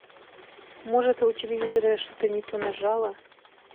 может я у телевизора что то не то нажала